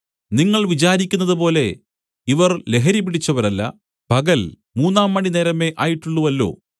നിങ്ങൾ വിചാരിക്കുന്നതുപോലെ ഇവർ ലഹരി പിടിച്ചവരല്ല പകൽ മൂന്നാംമണിനേരമേ ആയിട്ടുള്ളുവല്ലോ